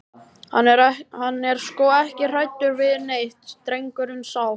Hann er sko ekki hræddur við neitt, drengurinn sá.